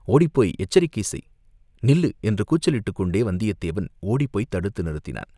ஓடிப்போய் எச்சரிக்கை செய்!" நில்லு!" என்று கூச்சலிட்டுக் கொண்டே வந்தியத்தேவன் ஓடிப்போய்த் தடுத்து நிறுத்தினான்.